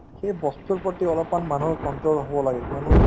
সেই বস্তুৰ প্ৰতি অলপমান মানুহৰ control হব লাগে কিয়নো